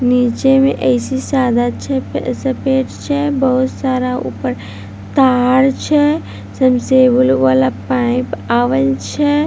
नीचे मे ऐसी सादा सफ़ेद छै बहुत सारा ऊपर तार छै सामने से ब्लू वाला पाइप आवल छै।